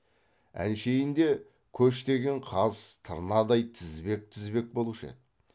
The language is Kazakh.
әншейінде көш деген қаз тырнадай тізбек тізбек болушы еді